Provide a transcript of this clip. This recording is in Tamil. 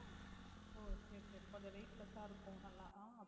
ஓ சரி சரி கொஞ்சம் weightless ஆ இருக்கும் நல்லா அஹ்